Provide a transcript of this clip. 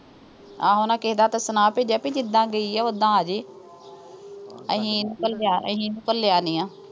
ਆਹੋ ਉਨ੍ਹਾਂ ਕਿਸੇ ਦੇ ਹੱਥ ਸੁਨੇਹਾ ਭੇਜਿਆ ਵੀ ਜਿੱਦਾਂ ਗਈ ਆ ਉਦਾਂ ਆਜੇ ਅਸੀਂ ਨੀਂ ਘੱਲਿਆ, ਅਸੀਂ ਇਹਨੂੰ ਘੱਲਿਆ ਨੀਂ ਆ।